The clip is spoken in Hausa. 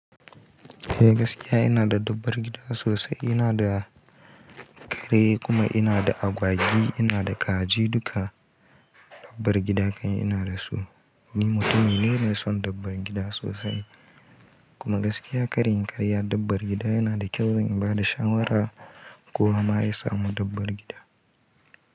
Gaskiya ina da dabbar gida sosai, ina da kare kuma ina da agwagi, ina da kaji duka dabbar gida kan ina da su. Ni mutum ne mai son dabbar gida sosai kuma gaskiya ƙara inyi karya dabbar gida yana da kyau zan ba da shawara kowa ma ya samu dabbar gida.